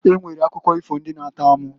E nwere akụkọ ifo ndị na -atọ amụ.